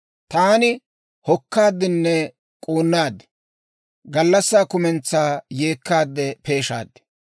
Taan hokkaadinne k'uunnaad. Gallassaa kumentsaa yeekkaade peeshaad.